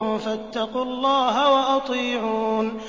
فَاتَّقُوا اللَّهَ وَأَطِيعُونِ